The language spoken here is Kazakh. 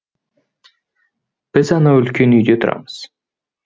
біз анау үлкен үйде тұрамыз